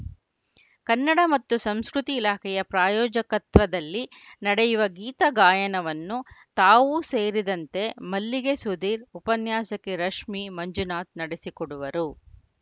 ಕನ್ನಡ ಮತ್ತು ಸಂಸ್ಕೃತಿ ಇಲಾಖೆಯ ಪ್ರಾಯೋಜಕತ್ವದಲ್ಲಿ ನಡೆಯುವ ಗೀತಗಾಯನವನ್ನು ತಾವೂ ಸೇರಿದಂತೆ ಮಲ್ಲಿಗೆ ಸುಧೀರ್‌ ಉಪನ್ಯಾಸಕಿ ರಶ್ಮಿ ಮಂಜುನಾಥ್‌ ನಡೆಸಿಕೊಡುವರು